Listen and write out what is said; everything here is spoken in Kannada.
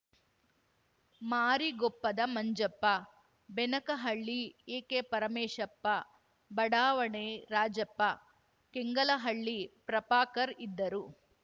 ಮಾರಿಗೊಪ್ಪದ ಮಂಜಪ್ಪ ಬೆನಕನಹಳ್ಳಿ ಎಕೆ ಪರಮೇಶಪ್ಪ ಬಡಾವಣೆ ರಾಜಪ್ಪಕೆಂಗಲಹಳ್ಳಿ ಪ್ರಪಾಕರ್‌ ಇದ್ದರು